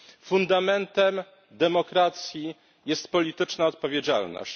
Fundamentem demokracji jest polityczna odpowiedzialność.